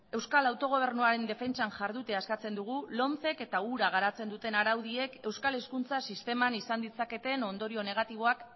euskal autogobernuaren defentsan jardutea eskatzen dugu lomcek eta hura garatzen duten araudiek euskal hezkuntza sisteman izan ditzaketen ondorio negatiboak